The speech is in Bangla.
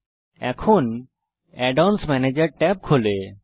add অন্স ম্যানেজের ট্যাব খোলে